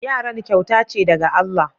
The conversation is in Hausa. Yaran kyauta ce daga Allah.